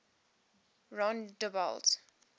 rondebult